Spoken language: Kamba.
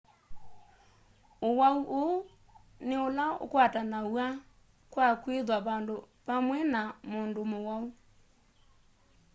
uwau uu ni ula ukwatanawa kwa kwitha vandu pamwe na mundu muwau